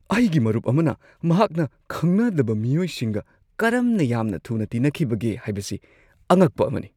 ꯑꯩꯒꯤ ꯃꯔꯨꯞ ꯑꯃꯅ ꯃꯍꯥꯛꯅ ꯈꯪꯅꯗꯕ ꯃꯤꯑꯣꯏꯁꯤꯡꯒ ꯀꯔꯝꯅ ꯌꯥꯝꯅ ꯊꯨꯅ ꯇꯤꯟꯅꯈꯤꯕꯒꯦ ꯍꯥꯏꯕꯁꯤ ꯑꯉꯛꯄ ꯑꯃꯅꯤ ꯫